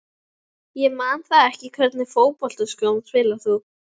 Ég man það ekki Í hvernig fótboltaskóm spilar þú?